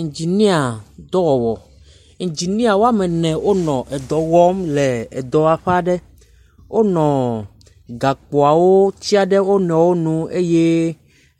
Iŋdziniadzɔwɔwɔ. Iŋdzinia wa me ne wonɔ dɔ wɔm. Wonɔ gakpoawo tsia ɖe wo nɔewo nu eye